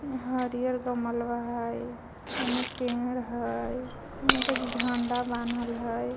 हरिहर गमलवा है हेने पेड़ है ओंही पे से झंडा बान्हल है.